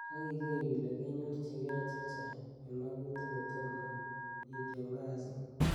ak iger ile kenyorchigee chechang en magutik kotomo itiem kasit.